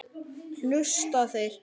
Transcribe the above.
Hlusta þeir?